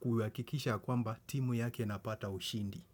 kuhakikisha kwamba timu yake inapata ushindi.